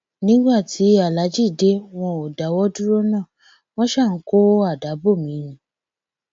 nígbà tí aláàjì dé wọn ò dáwọ dúró náà wọn ṣáà ń kó àdá bò mí ni